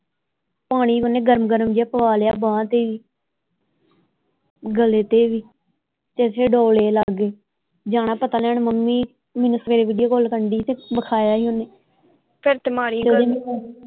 ਪਾਣੀ ਓਹਨੇ ਗਰਮ ਗਰਮ ਜਿਹਾ ਪਵਾ ਲਿਆ ਬਾਂਹ ਤੇ ਹੀ ਗਲੇ ਤੇ ਵੀ ਤੇ ਇਥੇ ਡੋਲੇ ਲਾਗੇ ਜਾਣਾ ਪਤਾ ਲੈਣ ਮੰਮੀ ਮੈਨੂੰ ਸਵੇਰੇ ਵੀਡੀਓ ਕਾਲ ਕਰਨ ਦੀ ਹੀ ਤੇ ਵਿਖਾਇਆ ਹੀ ਓਹਨੇ ਫੇਰ ਤੇ ਮਾੜੀ